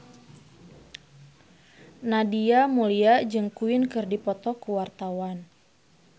Nadia Mulya jeung Queen keur dipoto ku wartawan